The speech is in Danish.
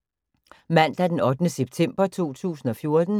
Mandag d. 8. september 2014